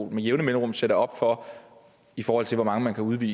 med jævne mellemrum sætter op i forhold til hvor mange man kan udvise